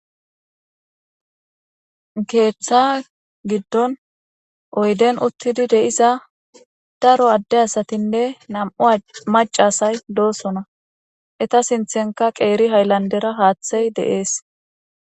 Keetha giddon oydden uttidi diza daro adde asatine nam'u macca asati de'osona. Eeta sinthenka guutha haylandera haathey de'ees.